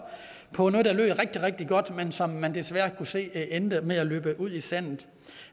på noget der lød rigtig rigtig godt men som man desværre kunne se endte med at løbe ud i sandet